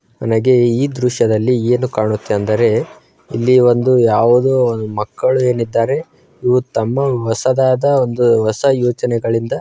ನಮಗೆ ಈ ದೃಶ್ಯದಲ್ಲಿ ಏನು ಕಾಣುತ್ತೆ ಅಂದರೆ ಇಲ್ಲಿ ಒಂದು ಯಾವುದೋ ಮಕ್ಕಳು ಏನಿದ್ದಾರೆ ಇವರು ತಮ್ಮ ಹೊಸದಾದ ಒಂದು ಹೊಸ ಯೋಜನೆಗಳಿಂದ.